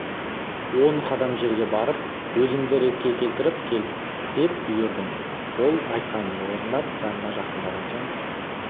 он қадам жерге барып өзіңді ретке келтіріп кел деп бұйырдым ол айтқанымды орындап жаныма жақындаған соң